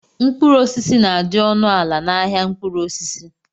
Mkpụrụ osisi na-adị ọnụ ala n'ahia mkpụrụ osisi.